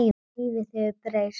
Lífið hefur breyst.